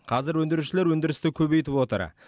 қазір өндірушілер өндірісті көбейтіп отыр